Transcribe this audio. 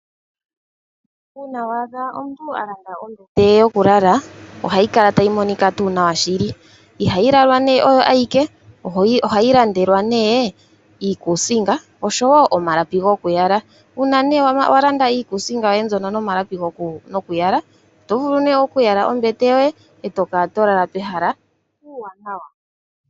Uuna wa adha omuntu a landa ombete ye yokulala ohayi kala tayi monika tuu nawa. Ihayi lalwa nduno oyo ayike, ohayi landelwa nduno iikuusinga, oshowo omalapi gokuyala. Uuna wa landa iikuusinga yoye mbyono nomalapi gokuyala, oto vulu ihe okuyala ombete yoye e to kala to lala pehala puuwanawa.